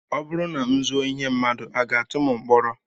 Ọ bụrụ na m zuo ihe mmadụ, a ga-atụ m mkpọrọ?